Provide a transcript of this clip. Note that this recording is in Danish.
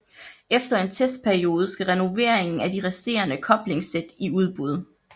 Efter en testperiode skal renoveringen af de resterende koblingssæt i udbud